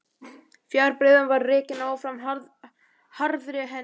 Fjárbreiðan var rekin áfram harðri hendi.